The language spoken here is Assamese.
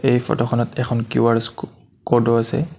এই ফটো খনত এখন কিউ_আৰ স্ক কোড ও আছে।